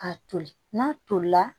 A toli n'a tolila